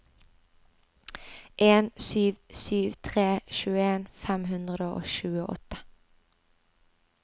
en sju sju tre tjueen fem hundre og tjueåtte